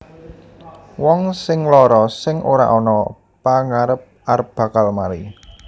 Wong sing lara sing ora ana pagarep arep bakal mari